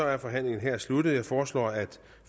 er forhandlingen her afsluttet jeg foreslår at